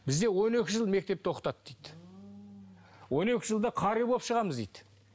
бізде он екі жыл мектепте оқытады дейді он екі жылда қари болып шығамыз дейді